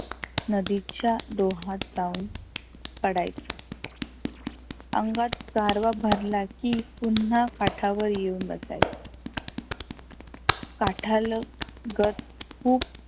नदीच्या डोहात जाऊन पडायचो. अंगात गारवा भरला की पुन्हा काठावर येऊन बसायचो. काठालगत खुप